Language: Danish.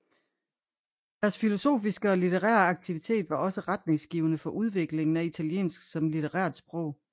Deres filologiske og litterære aktivitet var også retningsgivende for udviklingen af italiensk som litterært sprog